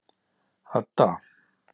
Hadda